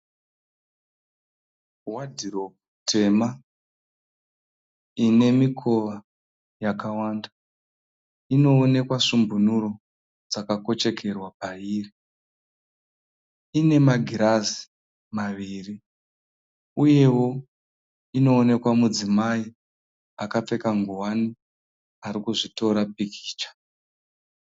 Wadhiropu tema ine mikova yakawanda. Inoonekwa svumbunuro dzakakochekerwa pairi. Ine magirazi maviri uyewo inoonekwa mudzimai akapfeka ngowani arikuzvitora pikicha.